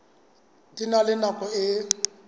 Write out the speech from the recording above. di na le nako e